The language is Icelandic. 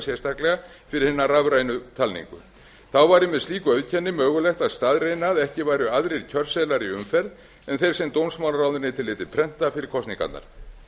sérstaklega fyrir hina rafrænu talningu þá væri með slíku auðkenni mögulegt að staðreyna að ekki væru aðrir kjörseðlar í umferð en þeir sem dómsmálaráðuneytið léti prenta fyrir kosningarnar